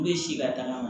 U bɛ si ka tagama